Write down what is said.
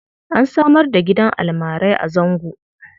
An samar da gidan almarai a Zango.